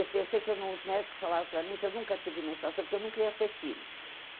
Eu pensei que eu não, os médicos falavam para mim que eu nunca tive menstruação, que eu nunca ia ter filho.